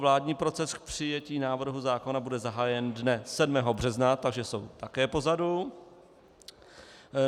Vládní proces k přijetí návrhu zákona bude zahájen dne 7. března, takže jsou také pozadu.